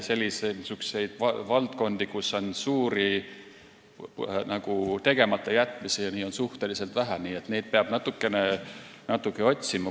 Niisuguseid valdkondi, kus on suuri tegematajätmisi, on suhteliselt vähe, neid peab natukene otsima.